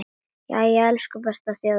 Jæja, elsku besta þjóðin mín!